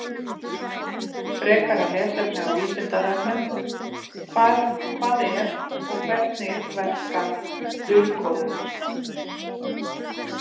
Frekara lesefni á Vísindavefnum: Hvað er og hvernig verkar dulkóðun?